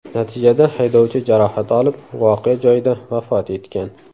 Natijada haydovchi jarohat olib, voqea joyida vafot etgan.